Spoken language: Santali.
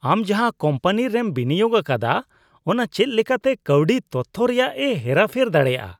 ᱟᱢ ᱡᱟᱦᱟᱸ ᱠᱳᱢᱯᱟᱱᱤ ᱨᱮᱢ ᱵᱤᱱᱤᱭᱳᱜ ᱟᱠᱟᱫᱼᱟ, ᱚᱱᱟ ᱪᱮᱫ ᱞᱮᱠᱟᱛᱮ ᱠᱟᱹᱣᱰᱤ ᱛᱚᱛᱷᱚ ᱨᱮᱭᱟᱜ ᱮ ᱦᱮᱨᱟ ᱯᱷᱮᱨ ᱫᱟᱲᱮᱭᱟᱜᱼᱟ ᱾